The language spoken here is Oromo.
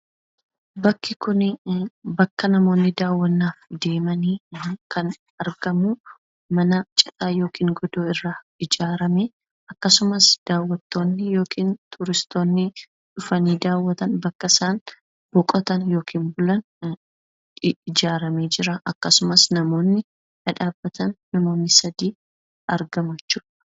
Bakki kun bakka namoonni daawwannaaf deeman lan argamu mana citaa yookaan godoo irraa ijaarame akkasumas bakka turistoonni yookaan daawwattoonni yeroo dhufan boqotan ta'ee ijaaramee jira. Akkasumas namoonni sadii dhaabbatanii jiru.